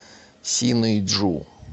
синыйджу